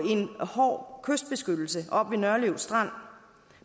hård kystbeskyttelse oppe ved nørlev strand